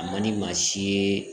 A ma ni maa si ye